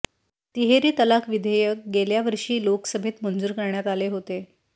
तिहेरी तलाक विधेयक गेल्या वर्षी लोकसभेत मंजूर करण्यात आले होते